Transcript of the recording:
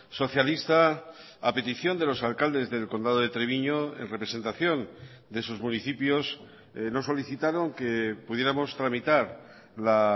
socialista a petición de los alcaldes del condado de treviño en representación de sus municipios nos solicitaron que pudiéramos tramitar la